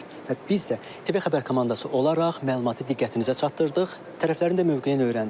Və biz də TV xəbər komandası olaraq məlumatı diqqətinizə çatdırdıq, tərəflərin də mövqeyini öyrəndik.